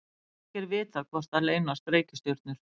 ekki er vitað hvort þar leynast reikistjörnur